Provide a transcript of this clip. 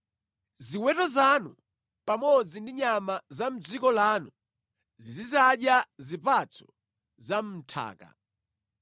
Ziweto zanu pamodzi ndi nyama za mʼdziko lanu zizidzadya zipatso za mʼnthaka.